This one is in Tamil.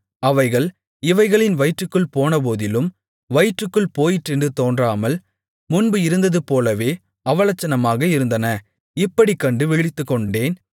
அவைகள் இவைகளின் வயிற்றுக்குள் போனபோதிலும் வயிற்றுக்குள் போயிற்றென்று தோன்றாமல் முன்பு இருந்தது போலவே அவலட்சணமாக இருந்தன இப்படிக் கண்டு விழித்துக்கொண்டேன்